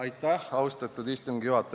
Aitäh, austatud istungi juhataja!